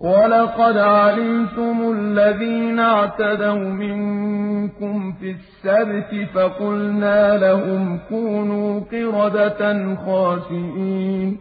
وَلَقَدْ عَلِمْتُمُ الَّذِينَ اعْتَدَوْا مِنكُمْ فِي السَّبْتِ فَقُلْنَا لَهُمْ كُونُوا قِرَدَةً خَاسِئِينَ